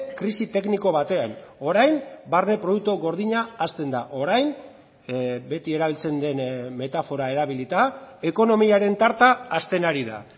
krisi tekniko batean orain barne produktu gordina hazten da orain beti erabiltzen den metafora erabilita ekonomiaren tarta hasten ari da